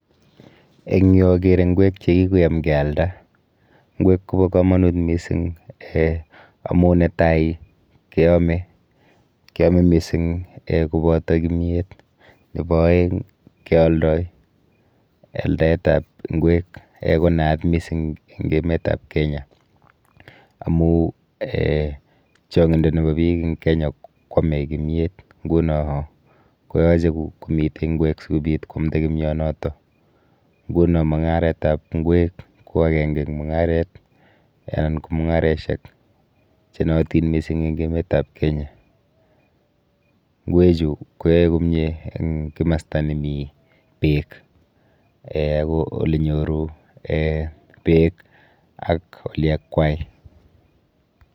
Eng yu akere ng'wek chekikoyam kealda. Ng'wek kopo komonut mising um amu netai keome, keome mising um koboto kimyet nepo oeng keoldoi. Aldaetap ng'wek um konaat mising eng emetap Kenya amu um chong'indo nepo biik eng Kenya kwome kimyet nguno koyoche komite ng'wek sikobit kwamda kimyonoto nguno mung'aretap ng'wek ko akenke eng mung'aret anan ko mung'areshek chenootin mising eng emetap Kenya. Ng'wechu koyoe komie eng kimasta nemi beek um ako olenyoru um beek ak oliakwai.